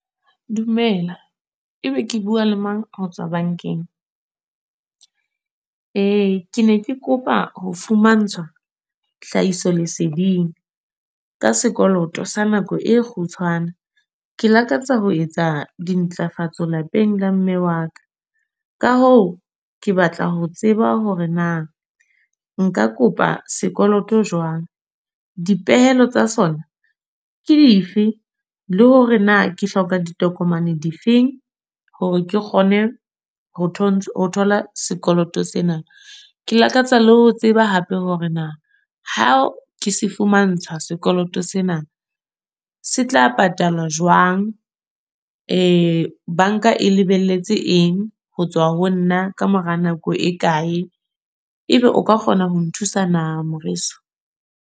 Dumela. E be ke bua le mang ho tswa bank-eng? Ke ne ke kopa ho fumantshwa, hlahiso leseding. Ka sekoloto sa nako e kgutshwane. Ke lakatsa ho etsa dintlafatso lapeng la mme wa ka. Ka hoo ke batla ho tseba hore na, nka kopa sekoloto jwang? Dipehelo tsa sona, ke dife? Le hore na ke hloka ditokomane di feng. Hore ke kgone ho thola sekoloto sena. Ke lakatsa le ho tseba hape hore na ha ke se fumantsha sekoloto sena, se tla patala jwang? bank-a e lebelletse eng ho tswa ho nna ka mora nako e kae? Ebe o ka kgona ho nthusa na moreso?